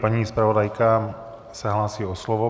Paní zpravodajka se hlásí o slovo.